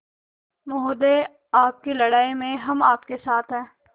महोदय आपकी लड़ाई में हम आपके साथ हैं